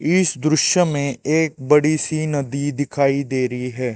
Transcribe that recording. इस दुष्य में एक बड़ी सी नदी दिखाई दे रही है।